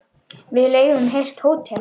Við leigðum heilt hótel.